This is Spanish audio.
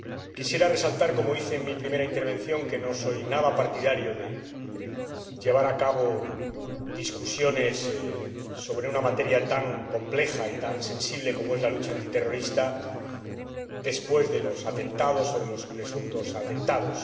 Quisiera resaltar, como hice en mi primera intervención, que no soy en absoluto partidario de llevar a cabo debates sobre una materia tan compleja y tan sensible como es la lucha antiterrorista después de los atentados o de los presuntos atentados.